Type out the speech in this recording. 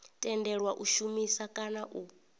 tendelwa u shumisa kana u